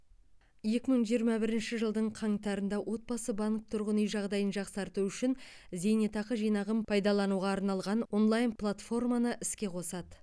екі мың жиырма бірінші жылдың қаңтарында отбасы банк тұрғын үй жағдайын жақсарту үшін зейнетақы жинағын пайдалануға арналған онлайн платформаны іске қосады